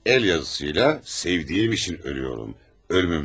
Əl yazısıyla, “Sevdiyim üçün ölürəm.